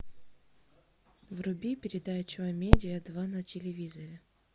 вруби передачу а медиа два на телевизоре